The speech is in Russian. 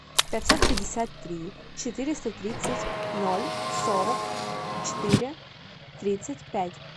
пятьсот пятьдесят три четыреста тридцать ноль сорок четыре тридцать пять